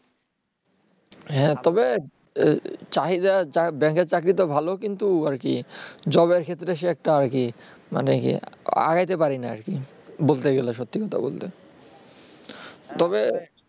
হ্যাঁ তবে চাহিদা bank -এর চাকরি তো ভাল কিন্তু আরকি job এর ক্ষেত্রে সে একটা আরকি মানে কি আগাইতে পারিনা আরকি বলতে গেলে সত্যি কথা বলতে